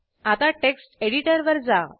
आता टेक्स्ट एडिटरवर जा